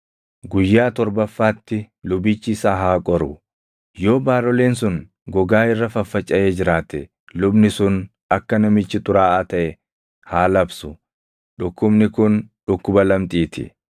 Guyyaa torbaffaatti lubichi isa haa qoru; yoo baaroleen sun gogaa irra faffacaʼee jiraate lubni sun akka namichi xuraaʼaa taʼe haa labsu; dhukkubni kun dhukkuba lamxii ti.